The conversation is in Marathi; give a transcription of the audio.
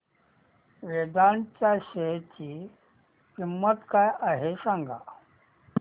वेदांत च्या शेअर ची किंमत काय आहे सांगा